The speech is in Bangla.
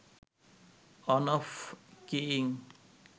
on off keying